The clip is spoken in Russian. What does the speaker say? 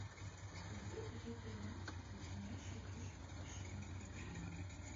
найди эпизод тринадцать леденящие душу приключения сабрины